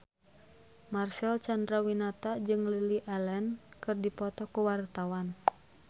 Marcel Chandrawinata jeung Lily Allen keur dipoto ku wartawan